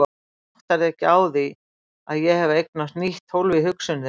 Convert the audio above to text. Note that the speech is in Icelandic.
En þú áttar þig ekki á að ég hef eignast nýtt hólf í hugsun þinni.